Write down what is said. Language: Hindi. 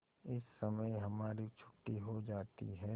इस समय हमारी छुट्टी हो जाती है